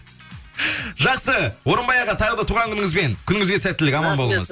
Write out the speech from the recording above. жақсы орынбай аға тағы да туған күніңізбен күніңізге сәттілік аман болыңыз